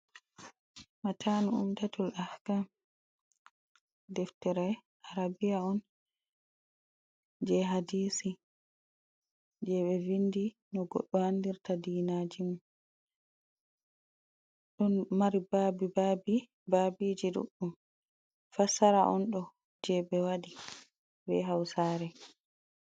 Matanu umtatul ahka deftere arabiya on, jey hadisi jey ɓe vindi no goɗɗo andirta diinaji mum .Ɗon mari babi babi ,babiji ɗuɗɗum fassara on do jey ɓe waɗi be hawsaare.